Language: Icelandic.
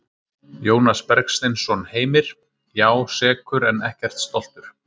Jónas Bergsteinsson Heimir: Já, sekur en ekkert stoltur.